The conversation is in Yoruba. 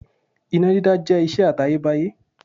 Iná dídá jẹ́ ìṣe àtayébáyé.